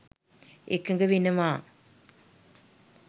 එකඟ වෙනවා.